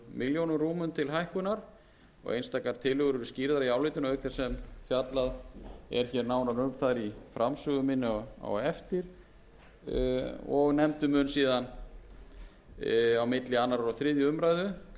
tillögur eru skýrðar í álitinu auk þess sem fjallað er hér nánar um þær í framsögu minni á eftir og nefndin mun síðan á milli annars og þriðju umræðu kalla